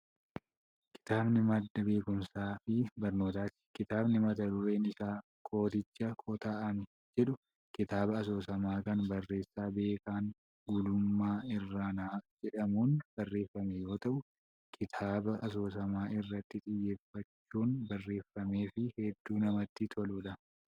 Kitaabni madda beekumsaa fi barnootaati. Kitaabni mata dureen isaa 'Kooticha Kota'ame!' jedhu kitaaba asoosamaa kan barreessaa Beekan Gulummàa Irranaa jedhamuun barreeffame yoo ta’u kitaaba asoosama irratti xiyyewffachuun barreeffamee fi hedduu namatti toludha.